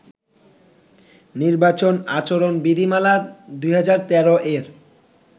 নির্বাচন আচরণ বিধিমালা-২০১৩ এর